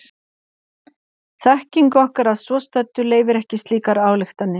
þekking okkar að svo stöddu leyfir ekki slíkar ályktanir